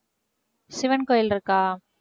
சிவன் கோயில் இருக்கா?